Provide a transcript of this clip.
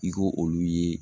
I ko olu ye